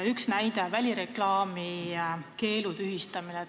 Üks näide: välireklaami keelu tühistamine.